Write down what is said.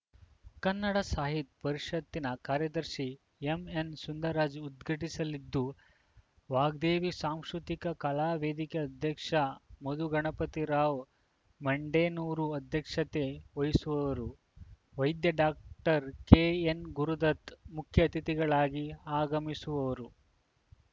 ಕನ್ನಡ ಸಾಹಿತ್ ಪರಿಷತ್‌ನ ಕಾರ್ಯದರ್ಶಿ ಎಂಎನ್‌ಸುಂದರ್‌ರಾಜ್‌ ಉದ್ಘಾಟಿಸಲಿದ್ದು ವಾಗ್ದೇವಿ ಸಾಂಶೂತಿಕ ಕಲಾ ವೇದಿಕೆ ಅಧ್ಯಕ್ಷ ಮಧುಗಣಪತಿರಾವ್‌ ಮಡೆನೂರ್‌ ಅಧ್ಯಕ್ಷತೆ ವಹಿಸುವರು ವೈದ್ಯ ಡಾಕ್ಟರ್ ಕೆಎನ್‌ ಗುರುದತ್‌ ಮುಖ್ಯ ಅತಿಥಿಗಾಳಗಿ ಆಗಮಿಸುವವರು